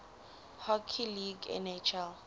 hockey league nhl